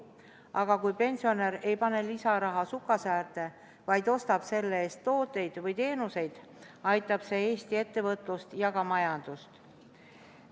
Aga kui pensionär ei pane lisaraha sukasäärde, vaid ostab selle eest tooteid või teenuseid, aitab see Eesti ettevõtlust ja majandust.